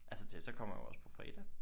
Altså Tessa kommer jo også på fredag